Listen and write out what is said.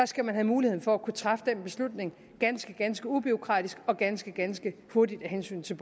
skal man have mulighed for at træffe den beslutning ganske ganske ubureaukratisk og ganske ganske hurtigt af hensyn til